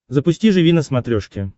запусти живи на смотрешке